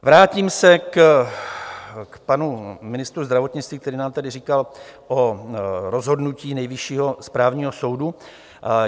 Vrátím se k panu ministru zdravotnictví, který nám tady říkal o rozhodnutí Nejvyššího správního soudu.